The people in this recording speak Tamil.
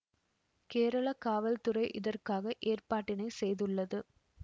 கேரள காவல் துறை இதற்காக ஏற்பாட்டினை செய்துள்ளது